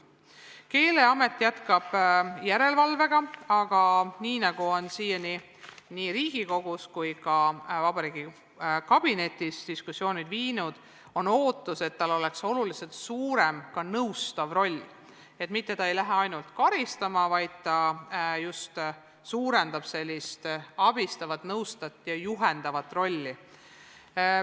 Keeleamet jätkab järelevalvet, aga nagu diskussioonid Riigikogus ja ka vabariigi valitsuskabinetis on siiani näidanud, on ootus, et tal oleks oluliselt suurem nõustav roll, st ta ei lähe mitte ainult karistama, vaid seeläbi suureneb abistav, nõustav ja juhendav roll.